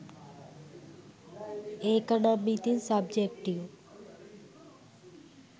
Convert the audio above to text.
ඒකනම් ඉතින් සබ්ජෙක්ටිව්.